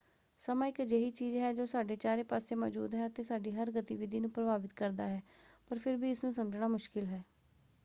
ਸਮਾਂ ਇੱਕ ਅਜਿਹੀ ਚੀਜ ਹੈ ਜੋ ਸਾਡੇ ਚਾਰੇ ਪਾਸੇ ਮੌਜੂਦ ਹੈ ਅਤੇ ਸਾਡੀ ਹਰ ਗਤੀਵਿਧੀ ਨੂੰ ਪ੍ਰਭਾਵਿਤ ਕਰਦਾ ਹੈ ਪਰ ਫਿਰ ਵੀ ਇਸਨੂੰ ਸਮਝਣਾ ਮੁਸ਼ਕਿਲ ਹੈ।